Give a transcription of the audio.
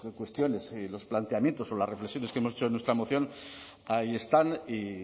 cuestiones y los planteamientos o las reflexiones que hemos hecho en nuestra moción ahí están y